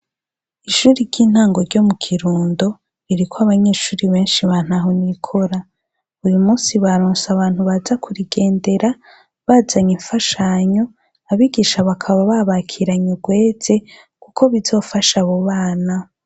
Ishuri ry'intango ryo mu Kirundo, ririko abanyeshuri benshi ba ntahonikora. Uy'umunsi baronse abantu baza kurigendera bazanye imfashanyo. Abigisha bakaba babakiranye urweze, kuko bizofasha abo bana.